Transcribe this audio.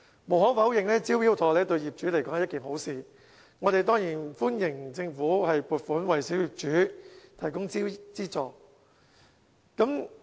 無可否認，"招標妥"對業主是一件好事，我們當然歡迎政府撥款為小業主提供資助。